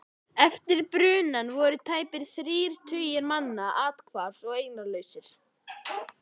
Eftir brunann voru tæpir þrír tugir manna athvarfs- og eignalausir.